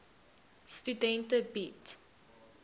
studente bied